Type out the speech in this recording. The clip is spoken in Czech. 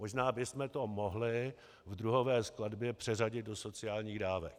Možná bychom to mohli v druhové skladbě přeřadit do sociálních dávek.